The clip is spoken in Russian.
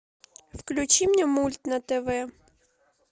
включи мне мульт на тв